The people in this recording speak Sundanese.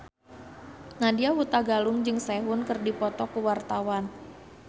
Nadya Hutagalung jeung Sehun keur dipoto ku wartawan